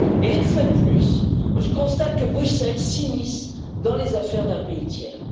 Une fois de plus, je constate que Bruxelles s'immisce dans les affaires d'un pays tiers.